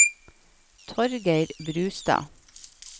Torgeir Brustad